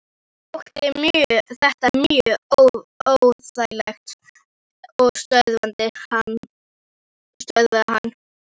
Mér þótti þetta mjög óþægilegt og stöðvaði hann.